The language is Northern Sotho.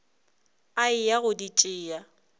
a eya go di tšea